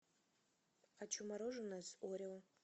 хочу мороженое с орео